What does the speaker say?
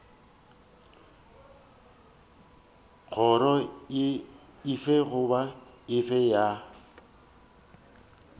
kgoro efe goba efe ya